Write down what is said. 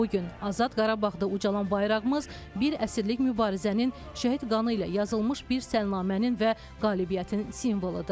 Bu gün azad Qarabağda ucalan bayrağımız bir əsrlik mübarizənin, şəhid qanı ilə yazılmış bir salnamənin və qalibiyyətin simvoludur.